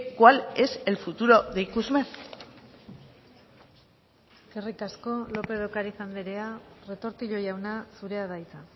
cuál es el futuro de ikusmer eskerrik asko lópez de ocariz andrea retortillo jauna zurea da hitza